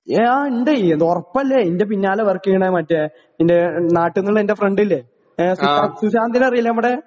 ആ ഇണ്ട് ഒറപ്പല്ലേ ഇന്റെ പിന്നാലെ വർക്കീയ്ണ മറ്റേ ഇന്റെ നാട്ടിന്ന്ള്ള ഇന്റെ ഫ്രണ്ടില്ലേ ഏ സുശാ സുശാന്തിനറീലെ നമ്മടേ.